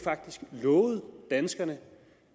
lovet danskerne